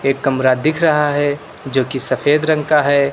कमरा दिख रहा है जो कि सफेद रंग का है।